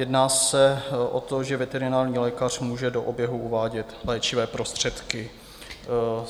Jedná se o to, že veterinární lékař může do oběhu uvádět léčivé prostředky.